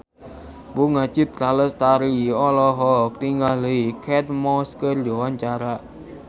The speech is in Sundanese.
Bunga Citra Lestari olohok ningali Kate Moss keur diwawancara